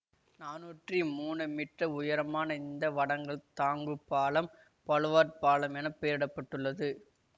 நானுற்றி மூனு மீட்டர் உயரமான இந்த வடங்கள் தாங்கு பாலம் பலுவார்ட் பாலம் என பெயரிட பட்டுள்ளது